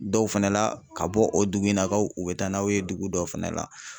Dɔw fɛnɛ la ka bɔ o dugu in na kaw u be taa n'aw ye dugu dɔ fɛnɛ la